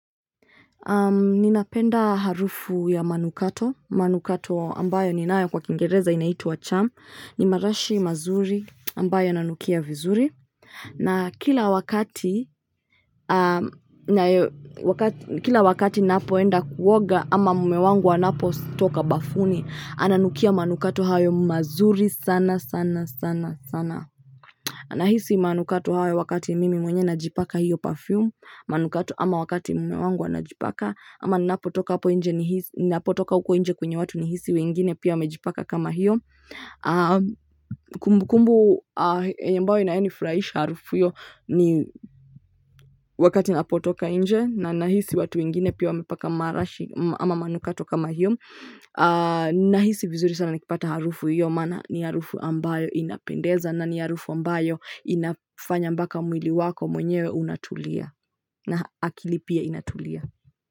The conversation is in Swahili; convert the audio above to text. Ninapenda harufu ya manukato, manukato ambayo ninayo Kiingereza yanaitwa perfume, ni marashi mazuri ambayo yananukia vizuri. Na kila wakati ninapoenda kuoga au mume wangu anapotoka bafuni, ananukia manukato hayo mazuri sana sana sana sana. Nahisi manukato hayo wakati mimi mwenyewe najipaka hiyo perfume, manukato, ama wakati mume wangu anajipaka, au ninapotoka huko nje kwenye watu, nahisi wengine pia wamejipaka kama hiyo. Kumbukumbu ambayo inanifurahisha harufu hiyo ni wakati ninapotoka nje, na nahisi watu wengine pia wamepaka marashi au manukato kama hiyo. Nahisi vizuri sana nikipata harufu hiyo maana ni harufu ambayo inapendeza, na ni harufu ambayo inafanya hata mwili wako mwenyewe unatulia na akili pia inatulia.